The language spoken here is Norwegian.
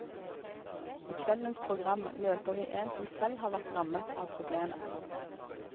I kveldens program møter vi en som selv har vært rammet av problemet.